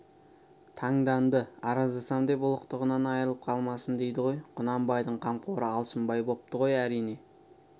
таңданды араздасам деп ұлықтығынан айрылып қалмасын дейді ғой құнанбайдың қамқоры алшынбай бопты ғой әрине